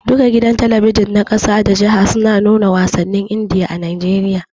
Duka gidan talabijin na ƙasa da jiha suna nuna wasannin Indiya a Najeriya.